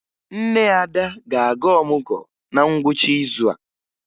Nne Ada ga-aga ọmụgwọ na ngwụcha izu a